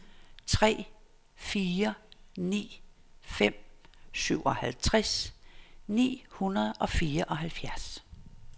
tre fire ni fem syvoghalvtreds ni hundrede og fireoghalvfjerds